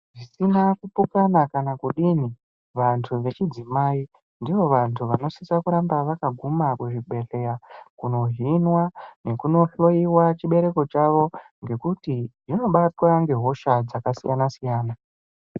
Akuna kupokana kana kudini vantu vechidzimai ndivo vantu vanosisa kuramba vakaguma kuzvibhedhleya kunohinwa nekunohloiwa chibereko chawo ngekuti vanobatwa ngehosha dzakasiyana siyana.